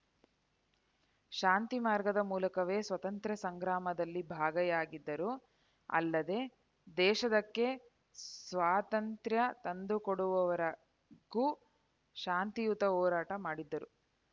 ಶಾಂತಿ ಮಾರ್ಗದ ಮೂಲಕವೇ ಸ್ವಾತಂತ್ರ್ಯ ಸಂಗ್ರಾಮದಲ್ಲಿ ಭಾಗಿಯಾಗಿದ್ದರು ಅಲ್ಲದೆ ದೇಶದಕ್ಕೆ ಸ್ವಾತಂತ್ರ್ಯ ತಂದುಕೊಡುವವರೆಗೂ ಶಾಂತಿಯುತ ಹೋರಾಟ ಮಾಡಿದ್ದರು